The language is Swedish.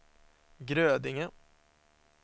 Grödinge